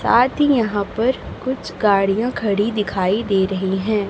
साथ ही यहाॅं पर कुछ गाड़ियाॅं खड़ी दिखाई दे रहीं हैं।